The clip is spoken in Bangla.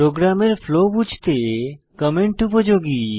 প্রোগ্রামের ফ্লো বুঝতে কমেন্ট উপযোগী